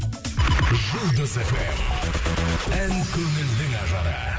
жұлдыз фм ән көңілдің ажары